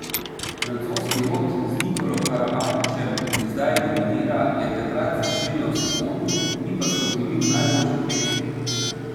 Francoski rod z Nikolo Karabatićem, ki zdaj dominira, je takrat začenjal vzpon, mi pa smo bili v najboljših letih.